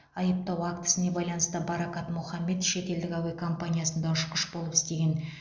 айыптау актісіне байланысты баракат мохаммед шетелдік әуе компаниясында ұшқыш болып істеген